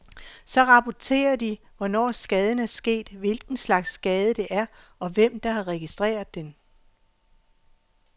Så rapporterer de, hvornår skaden er sket, hvilken slags skade det er, og hvem der har registreret den.